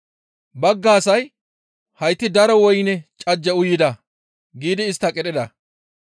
Bagga asay, «Hayti daro woyne cajje uyida» giidi istta qidhida.